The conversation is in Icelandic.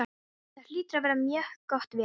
Það hlýtur að vera mjög gott veður.